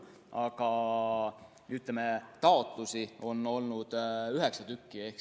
Aga taotlusi on olnud üheksa.